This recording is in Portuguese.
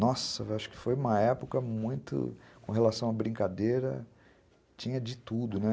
Nossa, acho que foi uma época muito, com relação à brincadeira, tinha de tudo, né?